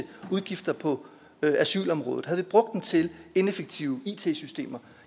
udgifter på asylområdet havde vi brugt den til ineffektive it systemer